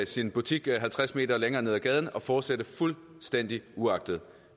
sin butik halvtreds meter længere nede ad gaden og fortsætte fuldstændig uanfægtet